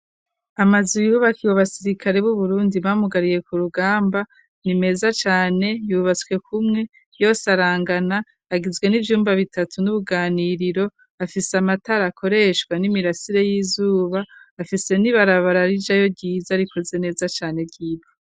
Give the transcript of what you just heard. Amaze iyubakiwe abasirikale b'uburundi bamugariye ku rugamba ni meza cane yubatswe kumwe yo s arangana agizwe n'ivyumba bitatu n'ubuganiriro afise amatarakoreshwa n'imirasire y'izuba afise ni barabara arija yo ryiza rikoze neza cane ryiwa.